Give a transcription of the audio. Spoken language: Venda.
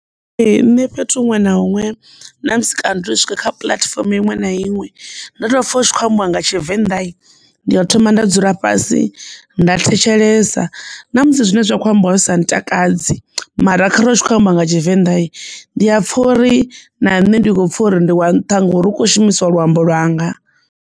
Ee, nṋe fhethu huṅwe na huṅwe na musi kana ri tshi swika kha puḽatifomo iṅwe na iṅwe ndo tou pfha u tshi kho ambiwa nga Tshivenḓa ndi ḓo thoma nda dzula fhasi nda thetshelesa sa na musi zwine zwa kho ambiwa sa ntakadzi mara khare hu tshi khou amba nga tshivenḓa ndi a pfha uri na nṋe ndi kho pfha uri ndi wa nṱha nga uri hu kho shumisiwa luambo lwanga.